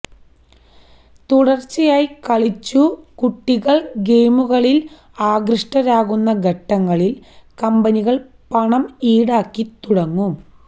തുടര്ച്ചായി കളിച്ചു കുട്ടികള് ഗെയിമുകളില് ആകൃഷ്ടരാകുന്ന ഘട്ടങ്ങളില് കമ്പനികള് പണം ഈടാക്കി തുടങ്ങും